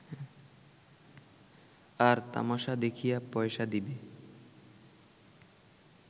আর তামাশা দেখিয়া পয়সা দিবে